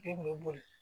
Den bɛ boli